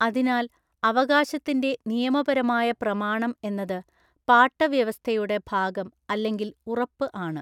അതിനാൽ അവകാശത്തിന്റെ നിയമപരമായ പ്രമാണം എന്നത് പാട്ടവ്യവസ്ഥയുടെ ഭാഗം അല്ലെങ്കില്‍ ഉറപ്പ് ആണ്.